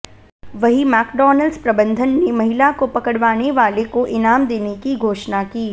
वहीं मैक्डॉनल्ड्स प्रबंधन ने महिला को पकड़वाने वाले को ईनाम देने की घोषणा की